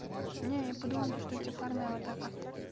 не я подумала то что тебе парная аватарка